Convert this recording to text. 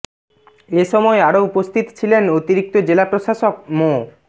এ সময় আরো উপস্থিত ছিলেন অতিরিক্ত জেলা প্রশাসক মো